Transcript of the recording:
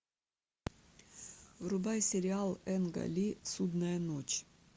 врубай сериал энга ли судная ночь